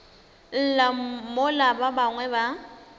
lla mola ba bangwe ba